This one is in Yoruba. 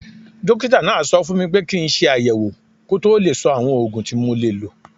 Dókítà náà sọ fún mi pé kí n ṣe àyẹ̀wò kó tó lè sọ àwọn oògùn tí mo lè lò